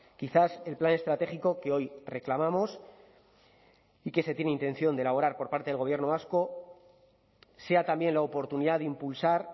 quizás el plan estratégico que hoy reclamamos y que se tiene intención de elaborar por parte del gobierno vasco sea también la oportunidad de impulsar